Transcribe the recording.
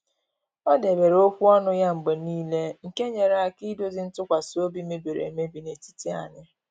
O debere okwu ọnụ ya mgbe n'ile nke nyere aka idozi ntụkwasị obi mebiri emebi n'etiti anyị